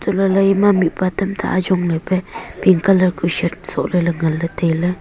untoh lahley mihpa tamta ajong lepe pink colour kuh shirt soh leley ngan leley tailey.